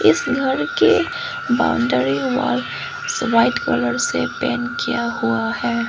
उस घर के बाउंड्री वॉल व्हाइट कलर से पेंट किया हुआ है।